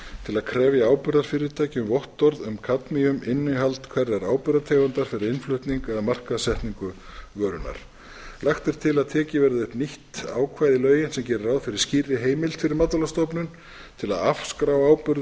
til að krefja áburðarfyrirtæki um vottorð um kadmiuminnihald hverrar áburðartegundar fyrir innflutning eða markaðssetningu vörunnar lagt er til að tekið verði upp nýtt ákvæði í lögin sem geri ráð fyrir skýrri heimild fyrir matvælastofnun til að afskrá áburð